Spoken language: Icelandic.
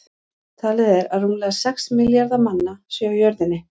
Talið er að rúmlega sex milljarðar manna séu á jörðinni.